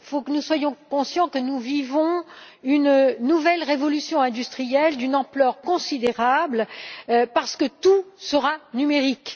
Nous devons être conscients que nous vivons une nouvelle révolution industrielle d'une ampleur considérable parce que tout sera numérique.